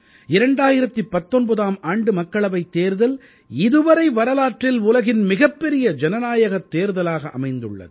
2019ஆம் ஆண்டு மக்களவைத் தேர்தல் இதுவரை வரலாற்றில் உலகின் மிகப் பெரிய ஜனநாயகத் தேர்தலாக அமைந்துள்ளது